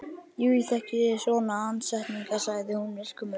Jú, ég þekki svona andsetninga, sagði hún myrkum augum.